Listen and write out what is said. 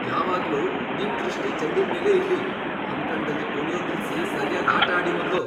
ಯಾವಾಗ್ಲೂ ನಿಮ್ ದೃಷ್ಟಿ ಚೆಂಡಿನ್ಮೇಲೇ ಇರ್ಲಿ! ಅಂಕಣ್ದಲ್ಲಿ ಕುಣ್ಯೋದ್ ನಿಲ್ಸಿ ಸರ್ಯಾಗ್ ಆಟ ಆಡಿ ಮೊದ್ಲು.